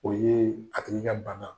O ye a hakilila bana.